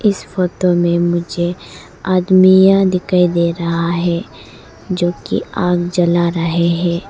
इस फोतो में मुझे आदमियां दिखाई दे रहा है जोकि आग जला रहा है।